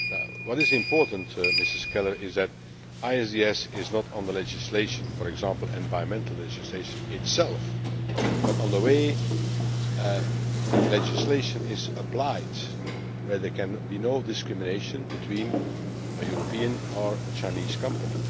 What is important, Ms Keller, is that ISDS relates not to the legislation, for example environmental legislation itself, but to the way the legislation is applied, so that there can be no discrimination between a European or a Chinese company.